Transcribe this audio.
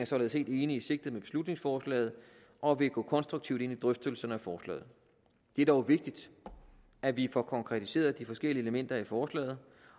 således helt enig i sigtet med beslutningsforslaget og vil gå konstruktivt ind i drøftelserne af forslaget det er dog vigtigt at vi får konkretiseret de forskellige elementer i forslaget